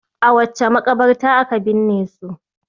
A wace maƙabarta aka binne su?